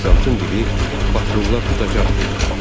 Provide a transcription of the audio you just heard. Ofisiantın biri, patrulular tutacaq dedi.